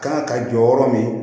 Kan ka jɔ yɔrɔ min